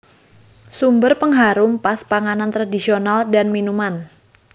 Sumber pengharum pas panganan tradisional dan minuman